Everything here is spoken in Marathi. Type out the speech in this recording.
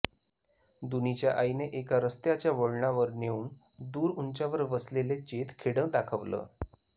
दुनी च्या आई ने एका रस्त्याच्या वळणावर नेऊन दूर उंचावर वसलेले चेत खेडं दाखवलं